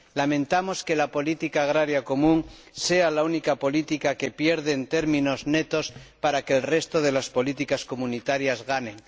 Lamentamos que la política agrícola común sea la única política que pierde en términos netos para que el resto de las políticas comunitarias ganen.